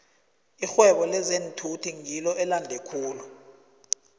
irhwebo lezeenthuthi ngilo elande khulu